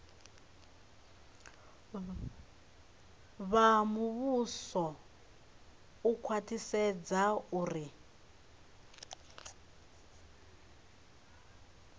vha muvhuso u khwaṱhisedza uri